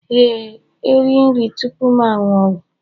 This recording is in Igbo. Ee, eri nri tupu m aṅụ ọgwụ